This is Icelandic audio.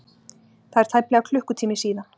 Það er tæplega klukkutími síðan.